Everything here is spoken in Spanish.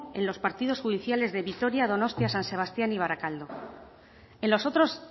en los partidos judiciales de vitoria donostia san sebastián y barakaldo en los otros